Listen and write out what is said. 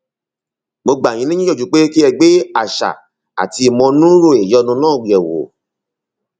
mo gbà yín níyànjú pé kí ẹ gbé àṣà àti ìmọnúúrò ìyọnu náà yẹwò